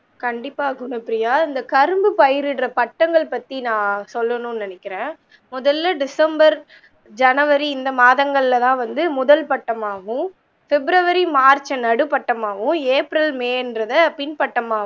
கண்டிப்பா குணப்ரியா இந்த கரும்பு பயிற்ற பட்டங்கள் பத்தி நான் சொல்லணும் நினைக்கிறன் முதல்ல december january இந்த மாதங்கள்ள தான் வந்து முதல் பட்டமாகும் february march நடு பட்டமாகவும் april may என்றத பின் பட் டமாகவும்